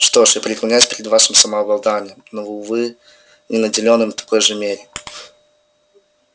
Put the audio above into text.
что ж я преклоняюсь перед вашим самообладанием но увы не наделен им в такой же мере